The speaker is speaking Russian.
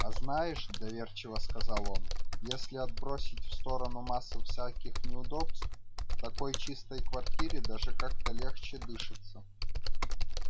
а знаешь доверчиво сказал он если отбросить в сторону массу всяких неудобств в такой чистой квартире даже как-то легче дышится